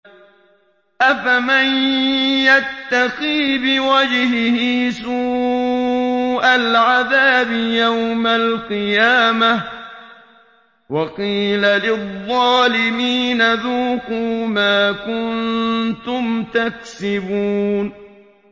أَفَمَن يَتَّقِي بِوَجْهِهِ سُوءَ الْعَذَابِ يَوْمَ الْقِيَامَةِ ۚ وَقِيلَ لِلظَّالِمِينَ ذُوقُوا مَا كُنتُمْ تَكْسِبُونَ